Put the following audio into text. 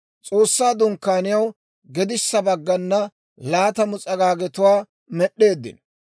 S'oossaa Dunkkaaniyaw gedissa baggana laatamu s'agaagetuwaa med'd'eeddino.